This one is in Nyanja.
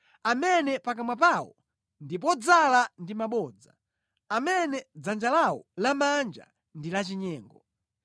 amene pakamwa pawo ndi podzala ndi mabodza, amene dzanja lawo lamanja ndi lachinyengo.